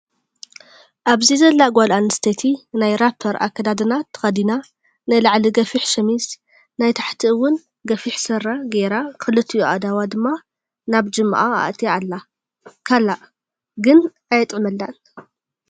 ኣብዚ ዘላ ጓል ኣንስተይቲ ናይ ራፐር ኣከዳድና ተከዲና ናይ ላዕሊ ገፊሕ ሸሚዝ ናይ ታሕቲ እወን ገፊሕ ስረ ገይራ ክሊቲኡ ኣእዳዋ ድማ ናብ ጅማኣ ኣእትያ ኣላ። ካላእ ግን ኣየጥዕመላን።